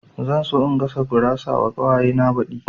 Zan so in gasa gurawa wa ƙawaye na baɗi